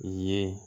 Ye